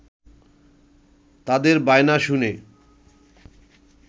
তাদের বায়না শুনে